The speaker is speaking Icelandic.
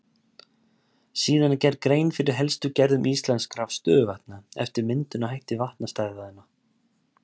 Síðan er gerð grein fyrir helstu gerðum íslenskra stöðuvatna eftir myndunarhætti vatnastæðanna.